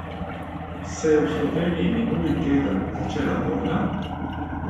Se je v Sloveniji minuli teden začela vojna?